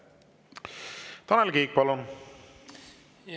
Tanel Kiik, palun!